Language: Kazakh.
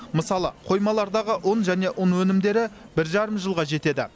мысалы қоймалардағы ұн және ұн өнімдері бір жарым жылға жетеді